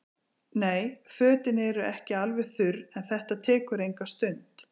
Nei, fötin eru ekki alveg þurr en þetta tekur enga stund.